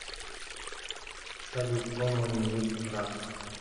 салют томо ньюс раша